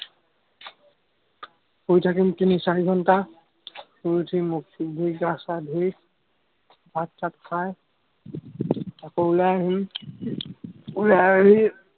শুই থাকিম, তিনি-চাৰি ঘন্টা, শুই উঠি মুখ-চুখ ঢুই, গা-চা ঢুই, ভাত-চাত খাই, আকৌ ওলাই আহিম। ওলাই আহি